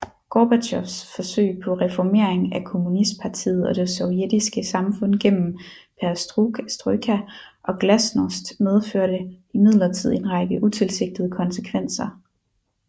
Gorbatjovs forsøg på reformering af kommunistpartiet og det sovjetiske samfund gennem perestrojka og glasnost medførte imidlertid en række utilsigtede konsekvenser